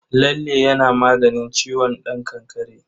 Lalle yana maganin ciwon ɗan kakkare.